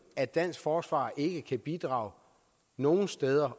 at dansk forsvar ikke kan bidrage nogen steder